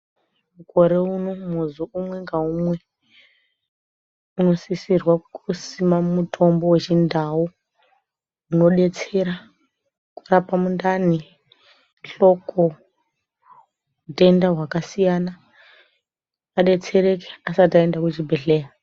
Mukore uno muzi umwe ngaumwe unosisirwa kusima mutombo wechindau unodetsera kurapa mundani, hloko hutenda hwakasiyana. Adetsereke asati aenda kuchibhehleya.